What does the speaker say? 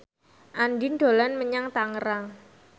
Andien dolan menyang Tangerang